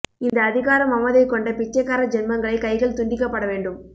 இந்த அதிகார மமதை கொண்ட பிச்சைக்கார ஜென்மங்களை கைகள் துண்டிக்க பட வேண்டும்